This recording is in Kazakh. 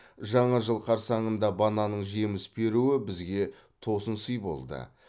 жаңа жыл қарсаңында бананның жеміс беруі бізге тосын сый болды